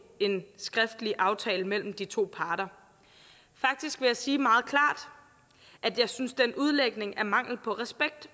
en skriftlig aftale mellem de to parter faktisk vil jeg sige meget klart at jeg synes den udlægning er mangel på respekt